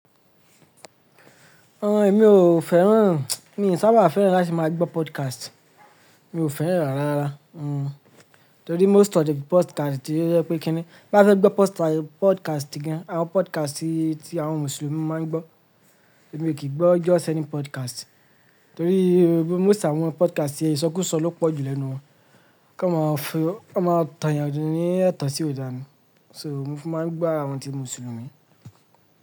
Àwọn èmi ò fẹ́ràn, mi ò sábà fẹ́ràn láti máa gbọ́ podcast. Mi ò fẹ́ràn rárá rara Torí most of the besttime ti yep ékini. Bá fẹ́ gbọ́ podcast gan, àwọn podcast tí àwọn Mùsùlùmí máa ń gbọ́, èmi ò kì í gbọ́ ọjọ́ sẹ́ni podcast. Torí most àwọn podcast yẹn, ìsọkúsọ ló pọ̀ jù lẹ́nu wọn. Ká máa fẹ́, ká máa tàn yàn ni ìtàn sí òdani. So mo máa ń gbọ́ àwọn ti Mùsùlùmí.